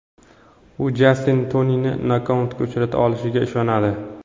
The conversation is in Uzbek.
U Jastin Tonini nokautga uchrata olishiga ishonadi.